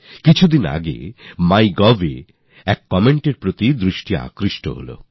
কিছু দিন আগে MyGovএ একটি কমেন্ট আমার চোখে পড়েছে